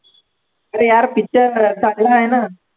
अरे यार picture चांगला आहे ना